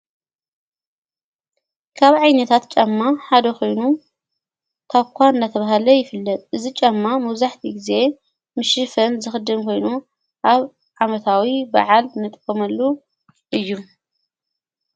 ካብ ዓይ ነታት ጨማ ሓደ ኾይኑ ካኳ እናተብሃለ ይፍልድ እዝ ጨማ መውዙሕቲ ጊዜ ምሽፍን ዝኽድም ኮይኑ ኣብ ዓመታዊ በዓል ነጥመሉ እዩ።